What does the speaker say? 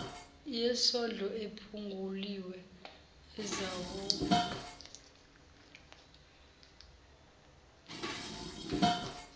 yesodlo ephunguliwe ezawuba